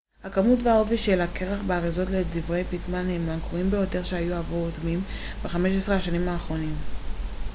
הכמות והעובי של הקרח באריזות לדברי פיטמן הם הגרועים ביותר שהיו עבור אוטמים ב-15 השנים האחרונות